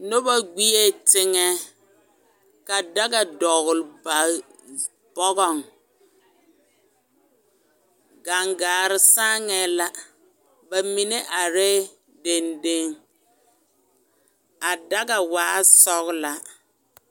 Noba gbie teŋɛ ka daga dɔgele ba bɔgɔŋ gaŋgaare saaŋɛɛ la bamine arɛɛ dendeŋ a daga waɛ sɔgelaa.